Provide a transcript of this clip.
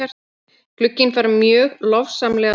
Glugginn fær mjög lofsamlega dóma.